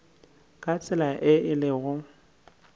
ka tsela ye e lego